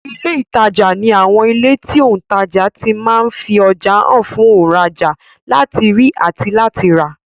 Ilé ìtajà ní àwọn ilé tí òùntajà ti ma ń fi ọjà hàn fún òùnrajà láti rí àti láti rà